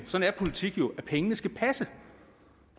sådan er politik jo at pengene skal passe